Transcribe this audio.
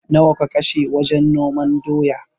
Nawa ka kashe wajen noman doya?